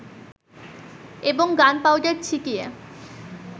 এবং gunpowder ছিটিয়ে